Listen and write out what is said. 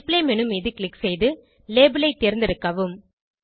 display menu மீது click செய்து label ஐ தேர்ந்தெடுக்கவும்